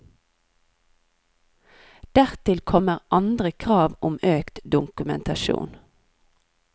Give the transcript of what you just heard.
Dertil kommer andre krav om økt dokumentasjon.